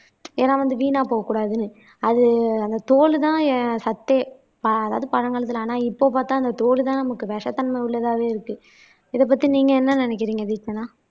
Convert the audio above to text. ஏன்னா வந்து வீணா போகக் கூடாதுன்னு அது அந்த தோலுதான் என் சத்தே அதாவது பழங்காலத்துல ஆனா இப்ப பார்த்தா அந்த தோல்தான் நமக்கு விஷத்தன்மை உள்ளதாவே இருக்கு. இத பத்தி நீங்க என்ன நினைக்கிறீங்க தீக்ஷனா